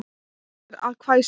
Reynir að hvæsa.